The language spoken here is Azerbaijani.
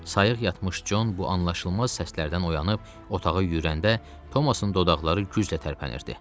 Sayıq yatmış Con bu anlaşılmaz səslərdən oyanıb otağa yüyürəndə Thomasın dodaqları güclə tərpənirdi.